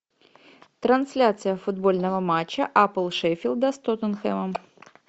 трансляция футбольного матча апл шеффилда с тоттенхэмом